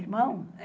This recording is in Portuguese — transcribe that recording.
Irmão?